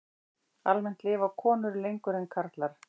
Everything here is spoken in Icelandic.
Almennt lifa konur lengur en karlar.